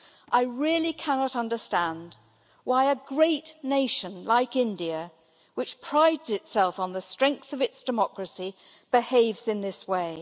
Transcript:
I really cannot understand why a great nation like India, which prides itself on the strength of its democracy, behaves in this way.